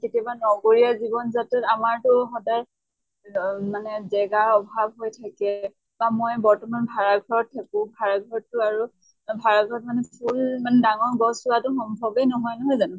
কেতিয়াবা নগৰীয়া জীৱন যাত্ৰাত আমাৰ টো সদায় অহ মানে জেগা অভাৱ হৈ থাকে মা মই বৰ্তমান ভাড়া ঘৰত থাকো। ভাড়া ঘৰতটো আৰু ভাড়া ঘৰত মানে ফুল মানে ডাঙৰ গছ ৰোৱাটো সম্ভৱে নহয়, নহয় জানো?